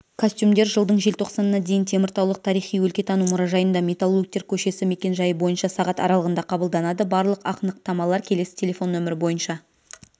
костюмдер жылдың желтоқсанына дейін теміртаулық тарихи-өлкетану мұражайында металлургтер көшесі мекен-жайы бойынша сағат аралығында қабылданады барлық ақнықтамалар келесі телефон нөмірі бойынша